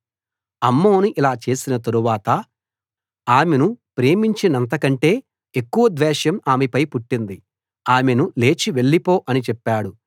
అమ్నోను ఇలా చేసిన తరువాత ఆమెను ప్రేమించినంతకంటే ఎక్కువ ద్వేషం ఆమెపై పుట్టింది ఆమెను లేచి వెళ్ళిపో అని చెప్పాడు